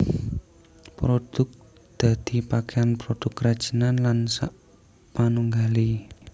Produk dadi pakaian produk kerajinan lan sakpanunggalé